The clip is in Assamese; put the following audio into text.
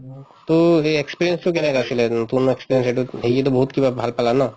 to সেই experience তো কেনেকুৱা আছিলে উম পুৰণা experience তো এইতো বহুত কিবা ভাল পালা ন